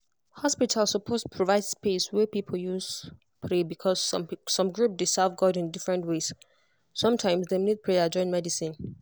hospital suppose provide space wey people fit use pray because some group dey serve god in different ways. sometimes dem need prayer join medicine.